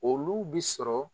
Olu bi sɔrɔ